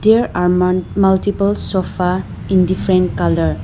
There are mul multiple sofa in different colour.